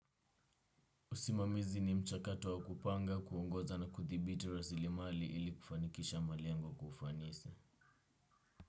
Usimamizi ni mchakato wa kupanga kuongoza na kuthibiti rasilimali ili kufanikisha malengo kwa ufanisi.